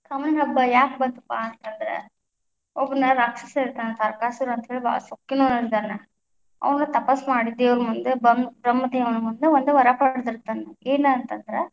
ಕಾಮಣ್ಣ ಹಬ್ಬ ಯಾಕ ಬಂತಪ್ಪಾ ಅಂತಂದ್ರ, ಒಬ್ನ ರಾಕ್ಷಸ ಇರ್ತಾನ ಅಂತ ಹೇಳಿ ಬಾಳ ಸೊಕ್ಕಿನವ ಅದಾನ, ಅವ್ನ ತಪಸ್ ಮಾಡಿ ದೇವರ ಮುಂದ ಬಮ್ಮ~ ಬ್ರಹ್ಮದೇವನ ಮುಂದ ಒಂದು ವರ ಪಡದಿರ್ತಾನ ಏನ ಅಂತಂದ್ರ.